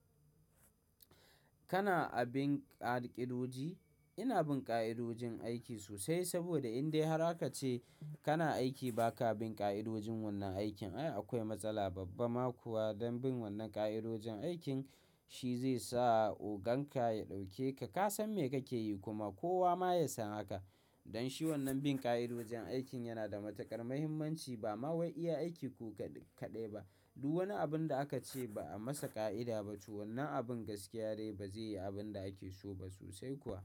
Kana abin ƙa'idoji? Ina bin ƙa'idojin aiki sosai saboda in dai har aka ce kana aiki ba ka bin ƙa'idojin wannan aikin, ai akwai matsala. Babban ma kuwa don bin wannan ƙa'idojin aikin shi zai sa ogan ka ya ɗauke ka. Ka san me kake yi kuma kowa ma ya san hakan. Don shi wannan bin ƙa'idojin aikin yana da matuƙar muhimmanci ba ma wai iya aiki ko kaɗai ba. Duk wani abun da aka ce ba a masa ƙa'ida ba to wannan abun gaskiya de ba zai yi abin da ake so ba sosai kuwa.